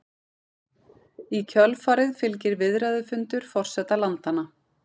Í kjölfarið fylgir viðræðufundur forseta landanna